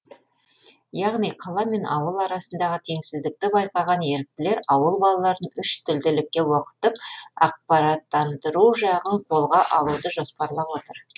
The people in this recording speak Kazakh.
яғни қала мен ауыл арасындағы теңсіздікті байқаған еріктілер ауыл балаларын үш тілділікке оқытып ақпараттандыру жағын қолға алуды жоспарлап отыр